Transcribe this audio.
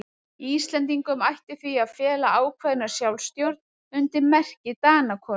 Íslendingum ætti því að fela ákveðna sjálfstjórn undir merki Danakonungs.